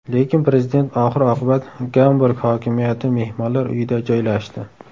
Lekin prezident oxir-oqibat Gamburg hokimiyati mehmonlar uyida joylashdi.